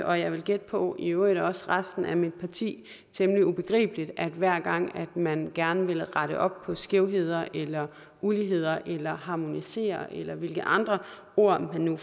og jeg vil gætte på i øvrigt også resten af mit parti temmelig begribeligt at hver gang man gerne vil rette op på skævheder eller uligheder eller harmonisere eller hvilke andre ord man nu